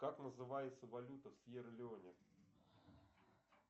как называется валюта в сьерра леоне